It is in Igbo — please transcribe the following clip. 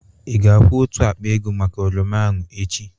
Ị ga-akwu otu akpa ego maka oroma ahụ echi?